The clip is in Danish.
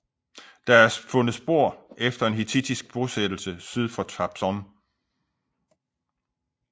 Der er fundet spor efter en hittittisk bosættelse syd for Trabzon